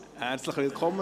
Herzlich willkommen.